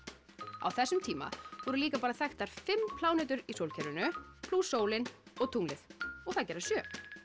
á þessum tíma voru líka bara þekktar fimm plánetur í sólkerfinu plús sólin og tunglið og það gera sjö